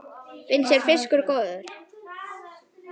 Finnst þér fiskur góður?